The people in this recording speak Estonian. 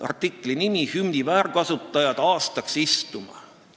Artikli pealkiri on "Hümni väärkasutajad aastaks istuma".